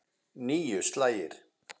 Níu slagir.